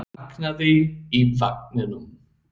Barnið vaknaði í vagninum.